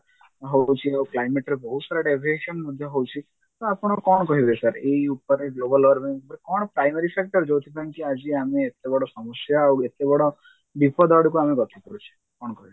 ହଉଛି ଆଉ climate ରେ ବହୁତ ସାରା deviation ମଧ୍ୟ ହଉଛି ତ ଆପଣ କଣ କହିବେ sir ଏଇ ଉପରେ global warming ଉପରେ କଣ primary ଯଉଥି ପାଇଁ କି ଆଜି ଆମେ ଏତେ ବଡ ସାମସ୍ୟା ଆଉ ଏତେ ବଡ ବିପଦ ଆଡକୁ ଆମେ ଗତି କରୁଛେ କଣ କହିବେ sir